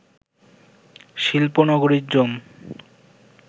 শিল্প নগরীর জন্